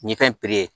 Nin fɛn in